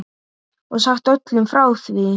Og sagt öllum frá því.